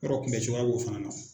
Yɔrɔ kunbɛcogoya b'o fana na.